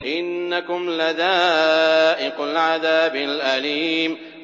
إِنَّكُمْ لَذَائِقُو الْعَذَابِ الْأَلِيمِ